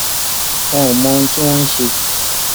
wọn ò mọ ohun tí wọn ń ṣe